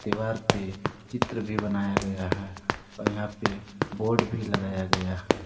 दीवार पे चित्र भी बनाया गया है और यहां पे बोर्ड भी लगाया गया--